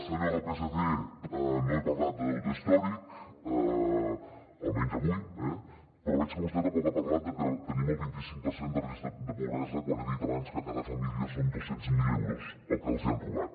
senyors del psc no he parlat de deute històric almenys avui eh però veig que vostè tampoc ha parlat que tenim el vint i cinc per cent de risc de pobresa quan he dit abans que a cada família són dos cents miler euros el que els hi han robat